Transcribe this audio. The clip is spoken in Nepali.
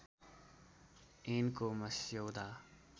ऐनको मस्यौदा